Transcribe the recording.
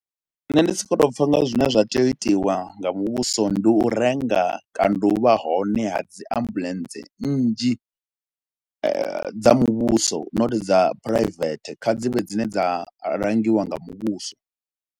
Nṋe ndi si khou tou pfha nga zwine zwa tea u itiwa nga muvhuso, ndi u renga kana u vha hone ha dzi ambuḽentse nnzhi dza muvhuso not dza phuraivethe kha dzi vhe dzine dza langiwa nga muvhuso.